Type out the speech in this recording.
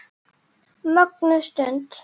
Mögnuð stund.